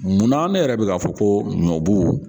Munna ne yɛrɛ bɛ ka fɔ ko ɲɔbu